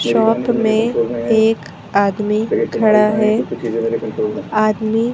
shop में एक आदमी खड़ा है आदमी--